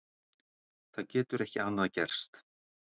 Það getur ekki annað gerst.